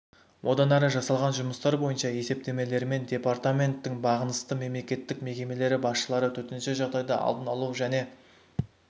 одан әрі жасалған жұмыстар бойынша есептемелерімен департаменттің бағынысты мемлекеттік мекемелер басшылары төтенше жағдайды алдын алу және